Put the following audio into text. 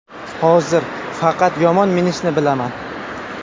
Hozir faqat yomon minishni bilaman.